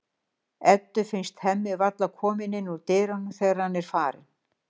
Eddu finnst Hemmi varla kominn inn úr dyrunum þegar hann er farinn.